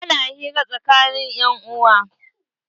Ana hira tsakanin 'yan uwa.